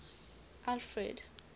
alfred